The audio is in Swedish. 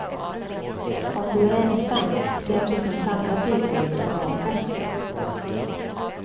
Om du är ensam, se om det finns andra dykare du kan åka med.